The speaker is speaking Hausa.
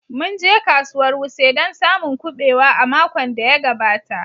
Mun je kasuwar wuse don samun kubewa a makon da ya gabata